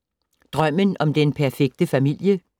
Drømmen om den perfekte familie